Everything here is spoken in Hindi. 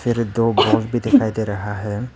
दो बॉल भी दिखाई दे रहा है।